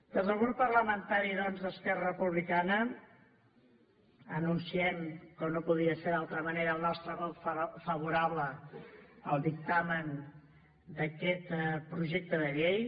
des del grup parlamentari d’esquerra republicana anunciem com no podia ser d’altra manera el nostre vot favorable al dictamen d’aquest projecte de llei